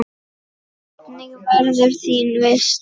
Hvernig verður þín veisla?